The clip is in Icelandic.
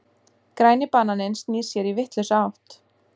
Græni bananinn snýr sér í vitlausa átt.